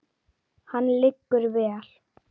Hann liggur vel.